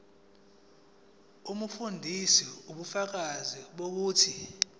umfundisi ubufakazi bokuthi